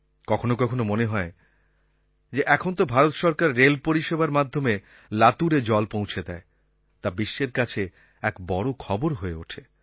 কখনো কখনো মনে হয় যে এখন তো ভারত সরকার রেল পরিষেবার মাধ্যমে লাতুরে জল পৌঁছে দেয় তা বিশ্বের কাছে এক বড় খবর হয়ে ওঠে